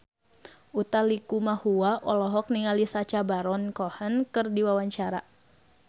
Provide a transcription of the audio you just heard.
Utha Likumahua olohok ningali Sacha Baron Cohen keur diwawancara